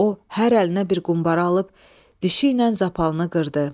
O hər əlinə bir qumbara alıb dişi ilə zapalını qırdı.